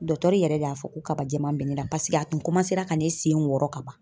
yɛrɛ de y'a fɔ ko kaba jɛman bɛ ne la paseke a tun ra ka ne sen wɔrɔ ka ban.